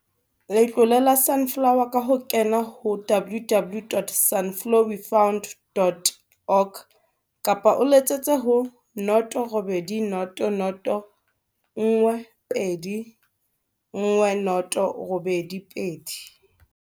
Letlole la Su nflower ka ho kena ho www.sunflowefund.org kapa o letsetse ho 0800 12 10 82.